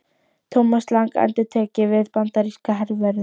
Thomas Lang endurtek ég við bandaríska hervörðinn.